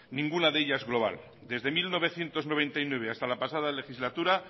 ninguna de ellas global desde mil novecientos noventa y nueve hasta la pasada legislatura